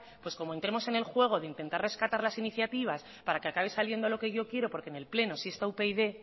pues como entremos en el juego de intentar rescatar las iniciativas para que acabe saliendo lo que yo quiero porque en el pleno sí está upyd